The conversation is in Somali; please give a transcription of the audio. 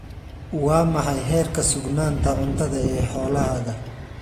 Waa maxay heerka sugnaanta cuntada ee xoolahaaga?